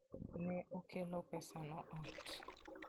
Ne okelo pesano ot.